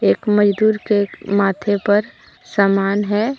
एक मजदूर के माथे पर समान है।